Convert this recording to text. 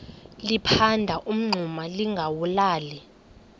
liphanda umngxuma lingawulali